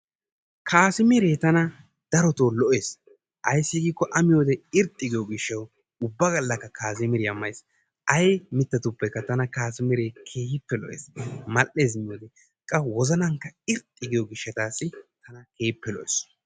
Kaasimiree tana darotoo lo'ees. Ayssi giikko A miyode irxxi ggiyo gishshawu ubba gallakka kaasimiriya mays. Ay mittatuppekka tana kaasimiree keehippe lo'ees. Mal"eesinne qa wozanankka irxxi giyo gishshataassi tana keehippe lo'ees.